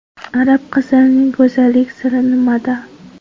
Arab qizlarining go‘zallik siri nimada?